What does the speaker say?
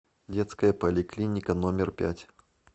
детская поликлиника номер пять